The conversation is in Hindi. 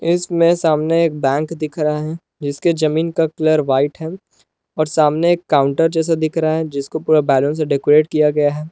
इसमें सामने एक बैंक दिख रहा है जिसके जमीन का कलर व्हाइट है और सामने एक काउंटर जैसा दिख रहा है जिसको पूरा बैलून डेकोरेट किया गया है।